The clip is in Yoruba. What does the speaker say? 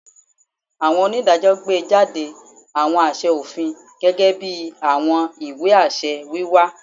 Awọn onidajọ gbejade awọn aṣẹ ofin, gẹgẹbi awọn iwe-aṣẹ wiwa